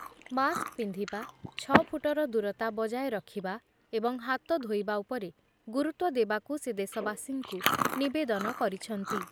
Mask ପିନ୍ଧିବା, ଛଅ ଫୁଟର ଦୂରତା ବଜାୟ ରଖିବା ଏବଂ ହାତ ଧୋଇବା ଉପରେ ଗୁରୁତ୍ୱ ଦେବାକୁ ସେ ଦେଶବାସୀଙ୍କୁ ନିବେଦନ କରିଛନ୍ତି ।